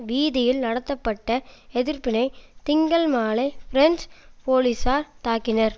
வீதியில் நடத்தப்பட்ட எதிர்ப்பினை திங்கள் மாலை பிரெஞ்சு போலீசார் தாக்கினர்